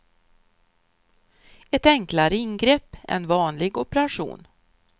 Ett enklare ingrepp än vanlig operation.